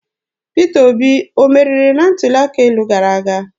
Peter Obi ọ meriri na ntuli aka elu gara aga?